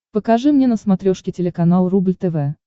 покажи мне на смотрешке телеканал рубль тв